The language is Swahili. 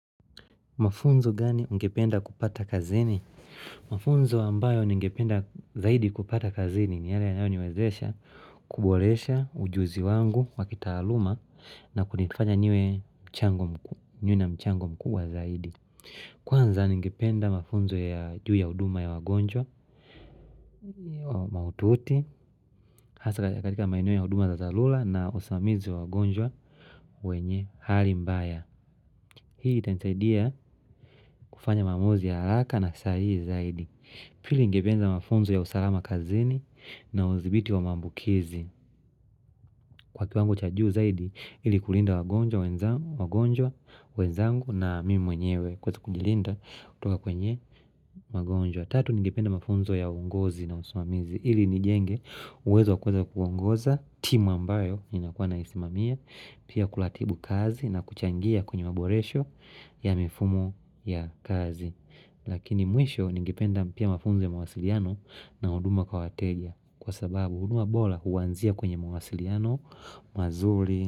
Mafunzo gani ungependa kupata kazini? Mafunzo ambayo ningependa zaidi kupata kazini ni yale yanayo niwezesha, kubulesha, ujuzi wangu, wakitaluma na kunifanya nyewe mchango mkuu, nyewe na mchango mkuu wa zaidi. Kwanza ningependa mafunzo ya juu ya uduma ya wagonjwa, maututi, hasa katika maineo ya uduma za zalula na osamizi wa wagonjwa wenye hali mbaya. Hii itansaidia kufanya mamuzi ya raka na sahihi zaidi Pili ngependa mafunzo ya usalama kazini na uzibiti wa mambukizi Kwa kiwangu chajuu zaidi ili kulinda wagonjwa, wagonjwa, wagonjwa, wenzangu na mimi mwenyewe Kweza kujilinda kutoka kwenye wagonjwa Tatu ngependa mafunzo ya uongozi na usumamizi ili nijenge uweza kweza kuongoza timu ambayo inakuwa na isimamia Pia kulatibu kazi na kuchangia kwenye maboresho ya mifumo ya kazi Lakini mwisho ningipenda pia mafunze mawasiliano na huduma kwa wateja Kwa sababu huduma bola huwanzia kwenye mawasiliano mazuri.